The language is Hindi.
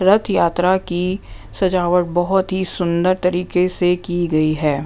रथ यात्रा की सजावट बहुत ही सुंदर तरीके से की गई है।